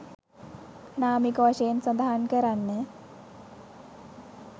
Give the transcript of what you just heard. නාමික වශයෙන් සඳහන් කරන්න.